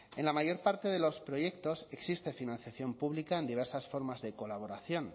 en la mayor parte de los proyectos existe financiación pública en diversas formas de colaboración